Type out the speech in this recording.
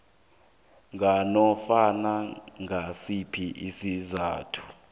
nganofana ngisiphi isizathu